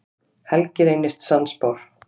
Helgi reynist sannspár.